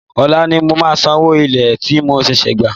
Òla ni màá san owó ilé tí mo ṣẹ̀ṣẹ̀ gbà